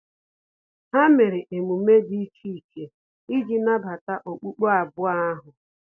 Ha mere emume dị iche iche iji nabata okpukpe abụọ ahu